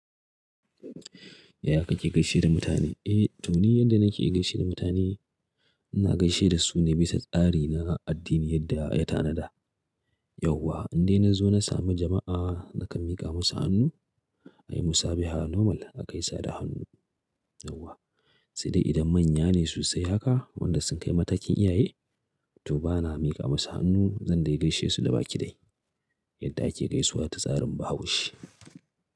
Yaya kake gaishe da mutane? Eh, to ni yadda nake gaishe da mutane, ina gaishe da su ne bisa tsari na addini yadda ya tanada. Yauwa, in dai na zo na sami jama'a, nakan miƙa musu hannu, a yi musabaha normal a kai sada hannu, yauwa. Sai dai idan manya ne sosai haka, wanda sun kai matakin iyaye, to bana miƙa musu hannu, zan dai gaishe su da baki dai yadda ake gaisuwa ta tsarin Bahaushe.